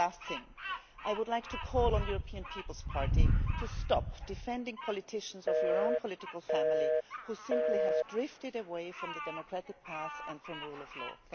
One last thing I would like to call on the European People's Party to stop defending politicians of their own political family who simply have drifted away from the democratic path and from the rule of law.